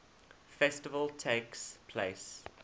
festival takes place